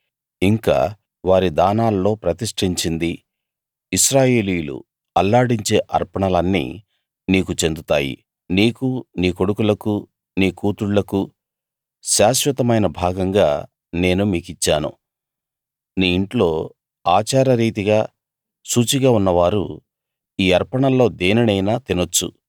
ఇంకా వారి దానాల్లో ప్రతిష్టించిందీ ఇశ్రాయేలీయులు అల్లాడించే అర్పణలన్నీ నీకు చెందుతాయి నీకూ నీ కొడుకులకూ నీ కూతుళ్ళకూ శాశ్వతమైన భాగంగా నేను మీకిచ్చాను నీ ఇంట్లో ఆచారరీతిగా శుచిగా ఉన్నవారు ఈ అర్పణల్లో దేనినైనా తినొచ్చు